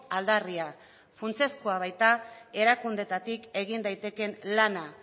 aldarria funtsezkoa baita erakundeetatik egin daitekeen lana